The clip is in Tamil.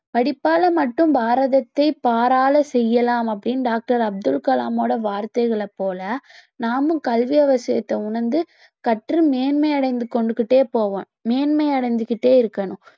படிப்பால மட்டும் பாரதத்தை பாராள செய்யலாம் அப்படின்னு doctor அப்துல் கலாம்ஓட வார்த்தைகளைப் போல நாமும் கல்வி அவசியத்தை உணர்ந்து கற்று மேன்மை அடைந்து கொண்டு கிட்டே போவோம் மேன்மை அடைந்து கிட்டே இருக்கணும்